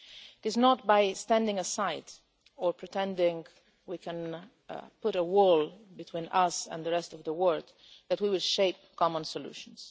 It is not by standing aside or pretending we can put a wall between us and the rest of the world that we will shape common solutions.